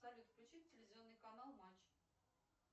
салют включи телевизионный канал матч